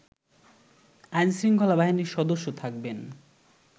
আইনশৃঙ্খলা বাহিনীর সদস্য থাকবেন